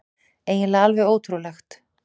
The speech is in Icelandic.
Eiginlega alveg ótrúlegt.